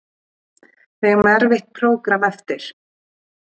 Við eigum erfitt prógramm eftir